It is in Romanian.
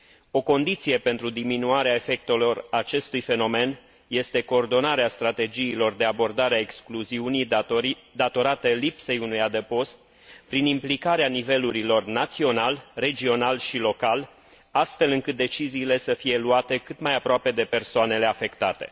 O condiție pentru diminuarea efectelor acestui fenomen este coordonarea strategiilor de abordare a excluziunii datorate lipsei unui adăpost, prin implicarea nivelurilor național, regional și local, astfel încât deciziile să fie luate cât mai aproape de persoanele afectate.